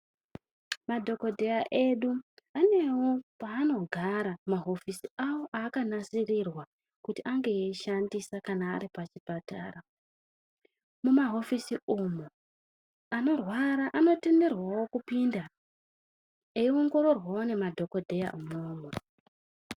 Madhokodheya edu vanewo paanogara mahofisi awo avakanasirirwa kuti ange eiishandisa kana aripachipatara. Mumahofisi umu anorwara anotenderwawo kupinda eiongororwawo nemadhokodheya umwomwo.